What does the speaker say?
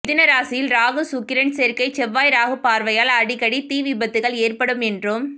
மிதுனம் ராசியில் ராகு சுக்கிரன் சேர்க்கை செவ்வாய் ராகு பார்வையால் அடிக்கடி தீ விபத்துகள் ஏற்படும் என்றும்